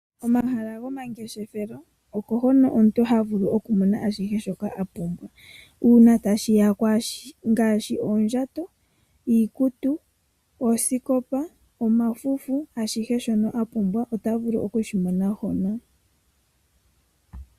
Omahala gomangeshefelo oko hono omuntu havulu okumona ashihe shoka apumbwa uuna tashi ya koondjato, iikutu, oosikopa , omafufu. Ashihe shono apumbwa ota vulu okushimona hono.